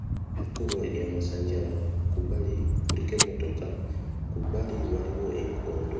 Ekkubo erya mwansanjala kubbali kuliko emmotoka ku bbali waliwo enkondo.